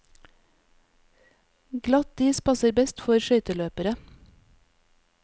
Glatt is passer best for skøyteløpere.